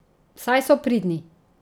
Saj so pridni.